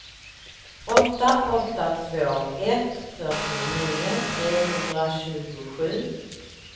åtta åtta två ett fyrtionio trehundratjugosju